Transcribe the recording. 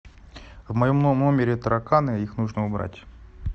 в моем номере тараканы их нужно убрать